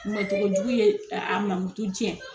Mɔn cogo jugu ye a mamutu jɛn